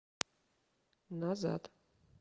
назад